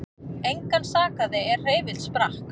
Engan sakaði er hreyfill sprakk